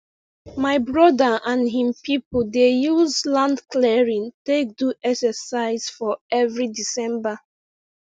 my brother and him people dey use land clearing take do exercise for every december